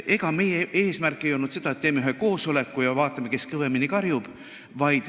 Ega meie eesmärk ei olnud see, et teeme ühe koosoleku ja vaatame, kes kõvemini karjub.